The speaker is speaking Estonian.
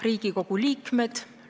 Riigikogu liikmed!